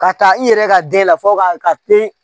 Ka taa i yɛrɛ ka den la fɔ ka pere